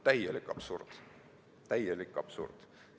Täielik absurd!